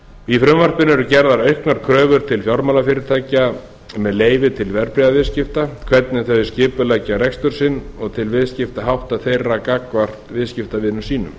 í frumvarpinu eru gerðar auknar kröfur til fjármálafyrirtækja með leyfi til verðbréfaviðskipta hvernig þau skipuleggja rekstur sinn og til viðskiptahátta þeirra gagnvart viðskiptavinum sínum